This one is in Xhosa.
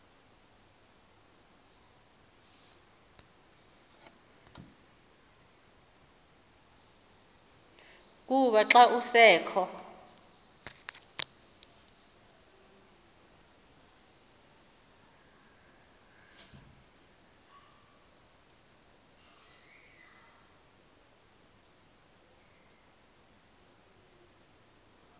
kukuba xa kusekho